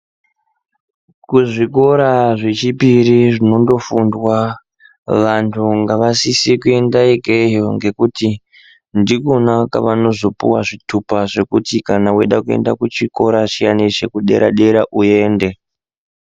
Kuzvikora zvechipiri zvinondofundwa, vantu ngavasise kuende ikeyo ngekuti ndikona kavanozopuwa zvitupa zvekuti kana weida kuenda kuchikora chiyani chekudera-dera uende.